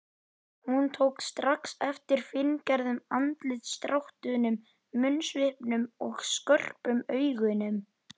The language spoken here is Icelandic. Hún tók strax eftir fíngerðum andlitsdráttunum, munnsvipnum og skörpum augunum.